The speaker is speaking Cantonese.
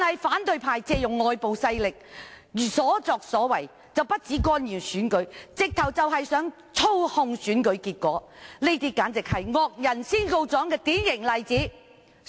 反對派借用外部勢力，所作所為不僅是干預選舉，簡直是想操控選舉結果，這是惡人先告狀的典型例子。